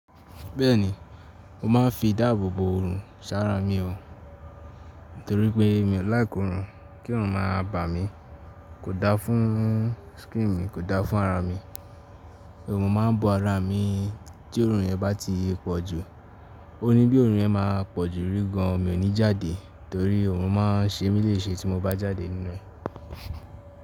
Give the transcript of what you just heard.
Bẹ́ẹ̀ni, mo máa ń fi ìdáàbò bo òrùn sára mi o, nítorí pé mi ò likr òrùn, kí òrùn máa bà mí, kò da fún skin mi, kò da fún ara mi. Òòrùn máa ń bọ ara mi tí òórùn yẹn bá ti pọ̀ jù. O ní bí òórùn yẹn máa pọ̀ jù rí gan, mi ò ní jáde torí òòrùn máa ń ṣe mí léṣe tí mo bá jáde nínú ẹ̀.